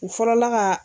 U fɔlɔla ka